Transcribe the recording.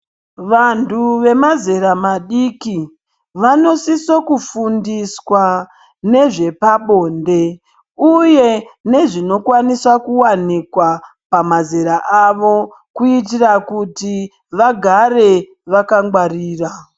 Vantu vemazera madiki ,vanosise kufundiswa nezvepabonde uye nezvinokwanisa kuwanikwa pamazera avo kuitire kuti vagare vakangwarira.